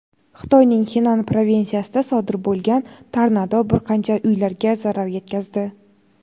Xitoyning Xenan provinsiyasida sodir bo‘lgan tornado bir qancha uylarga zarar yetkazdi.